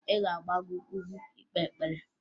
Ị ga-agbago ugwu ikpe ekpere?